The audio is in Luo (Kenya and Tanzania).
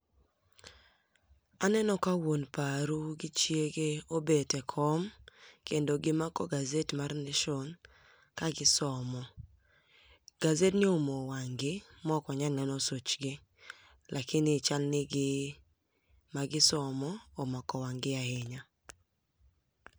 Aneno ka wuon paru gi chiegi obet e kom kendo gimako gazet mar nation kagisomo. Gazetni oumo wang' gi maokwanyal neno such gi lakini chalni gima gisomo omako wang' gi ahinya.